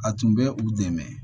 A tun bɛ u dɛmɛ